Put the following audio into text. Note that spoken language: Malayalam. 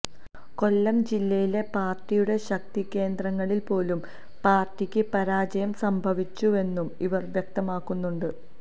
കൊല്ലം ജില്ലയിലെ പാര്ട്ടിയുടെ ശക്തികേന്ദ്രങ്ങളില് പോലും പാര്ട്ടിക്ക് പാരാജയം സംഭവിച്ചുവെന്നും ഇവര് വ്യക്തമാക്കുന്നുണ്ട്